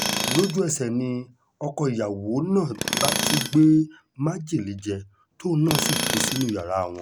lójú-ẹsẹ̀ ni ọkọ ìyàwó náà bá tún gbé májèlé jẹ tóun náà sì kú sínú yàrá wọn